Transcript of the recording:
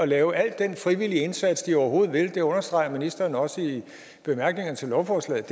lave al den frivillige indsats de overhovedet vil og det understreger ministeren også i bemærkningerne til lovforslaget